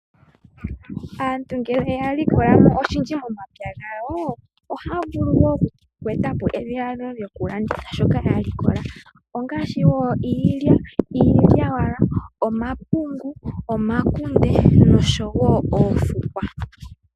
Aantu ngele ya likola mo oshindji momapya gawo, ohaya vulu wo oku eta po edhiladhilo lyokulanditha shoka ya likola ngaashi iilya, iilyaalyaka, omakunde, omapungu nosho wo oofukwa.